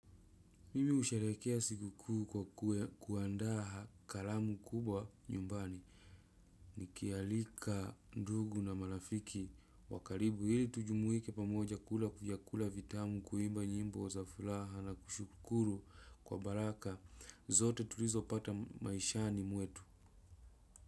Mimi husherehekea sikukuu kwa kuandaha kalamu kubwa nyumbani nikialika ndugu na marafiki wa karibu ili tujumuike pamoja kula vyakula vitamu kuimba nyimbo za furaha na kushukuru kwa baraka zote tulizopata maishani mwetu.